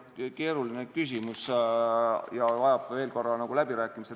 Eks see ole keeruline küsimus ja vajab veel korra läbirääkimist.